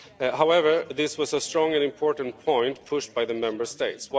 However, this was a strong and important point, pushed by the Member States.